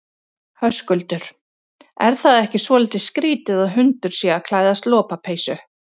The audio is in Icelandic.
Höskuldur: Er það ekki svolítið skrítið að hundur sé að klæðast lopapeysu?